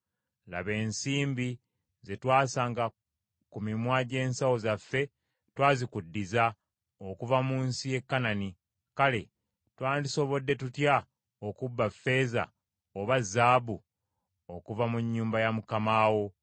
Laba, ensimbi ze twasanga ku mimwa gy’ensawo zaffe twazikuddiza okuva mu nsi ya Kanani, kale twandisobodde tutya okubba ffeeza oba zaabu okuva mu nnyumba ya mukama wo?